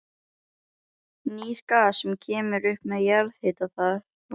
Lúlli sneri mótorhjólinu við og Elísa settist fyrir aftan hann.